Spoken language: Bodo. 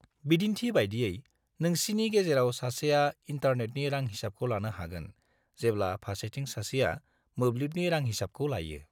बिदिन्थि बायदियै, नोंसिनि गेजेराव सासेआ इन्टारनेटनि रां हिसाबखौ लानो हागोन जेब्ला फारसेथिं सासेआ मोब्लिबनि रां हिसाबखौ लायो।